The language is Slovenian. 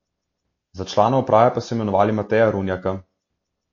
Za člana uprave pa so imenovali Mateja Runjaka.